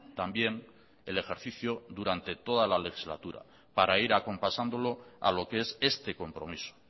también el ejercicio durante toda la legislatura para ir acompasándolo a lo que es este compromiso